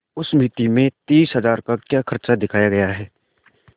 उस मिती में तीस हजार का क्या खर्च दिखाया गया है